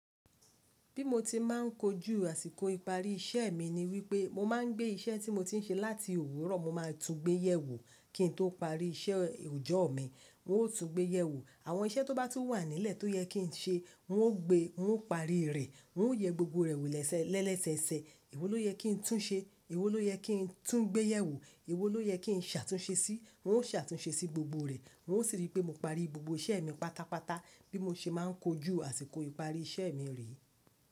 Bí mo ti má a n kojú àsìkò ìparí iṣẹ́ mi ni wípé mo máa ń gbé iṣẹ́ tí mo ti ń ṣe láti òwúrọ̀ mo ma tún gbéyẹ̀ wò, kí n tó parí iṣẹ́ òjọ̀ mi mi ó tún gbéyẹ̀ wò. Àwọn iṣẹ́ tó bá tún wà nílẹ̀ tó yẹ kí n ṣe, n ó gbe, n ó parí rẹ̀, n ó yẹ gbogbo rẹ̀ wò lẹ́sẹ lẹ́lesẹsẹ. Èwo ló yẹ kí n tún ṣe, èwo ló yẹ kí n tún gbéyẹ̀ wò, èwo ló yẹ kí n ṣàtúnṣe sí i, n ó ṣàtúnṣe sí gbogbo rẹ̀, n ó sì rí pé mo parí gbogbo iṣẹ́ mi pátápátá bí mo ṣe máa ń kojú àsìkò ìparí iṣẹ́ mi rẹ.